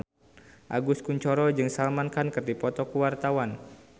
Agus Kuncoro jeung Salman Khan keur dipoto ku wartawan